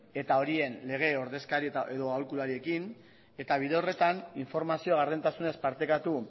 eta horien lege ordezkari edo aholkulariekin eta bide horretan informazioa gardentasunez partekatu